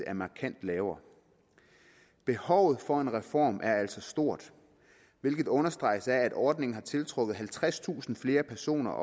er markant lavere behovet for en reform er altså stort hvilket understreges af at ordningen har tiltrukket halvtredstusind flere personer og